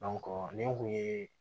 nin kun ye